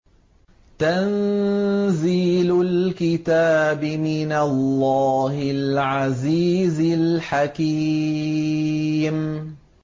تَنزِيلُ الْكِتَابِ مِنَ اللَّهِ الْعَزِيزِ الْحَكِيمِ